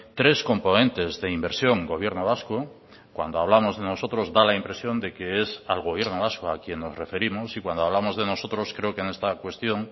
tres componentes de inversión gobierno vasco cuando hablamos de nosotros da la impresión de que es al gobierno vasco a quien nos referimos y cuando hablamos de nosotros creo que en esta cuestión